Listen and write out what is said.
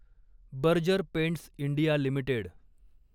Berger Paints India limited